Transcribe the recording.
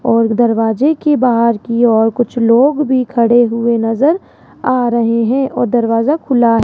और दरवाजे की बाहर की और कुछ लोग भी खड़े हुए नजर आ रहे हैं और दरवाजा खुला --